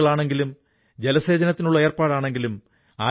ഇവിടെ pencil slate നിർമ്മാണത്തിനുതകുന്ന പല തടികളുമുണ്ട്